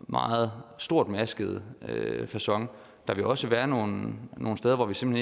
meget stormaskede facon der vil også være nogle nogle steder hvor vi simpelt